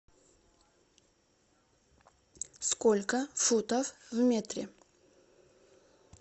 сколько футов в метре